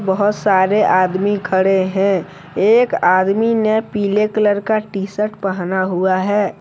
बहोत सारे आदमी खड़े हैं एक आदमी ने पीले कलर का टी- शर्ट पहना हुआ है।